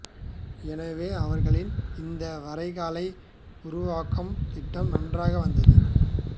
எனவே அவர்களின் இந்த வரைகலை உருவாக்கம் திட்டம் நன்றாக வந்தது